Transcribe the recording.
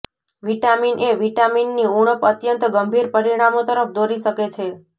vitamin A vitamin ની ઉણપ અત્યંત ગંભીર પરિણામો તરફ દોરી શકે છે